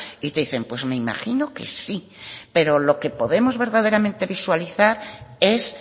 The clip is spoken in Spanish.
y te dicen pues me imagino que sí pero lo que podemos verdaderamente visualizar es